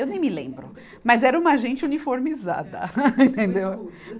Eu nem me lembro, mas era uma gente uniformizada, entendeu? escudo